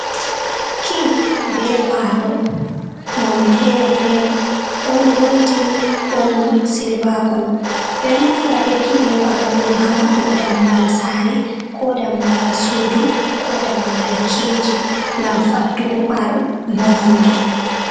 Kii be kwado none fere-fere, ɗon goldin ɗon silva kolo, ɓeɗo naftora be ki be kwaɗo ɗo ha mabɓugo dammugal sare, ko dammugal suudu, ko dammugal keji, ngam faddugo bononda.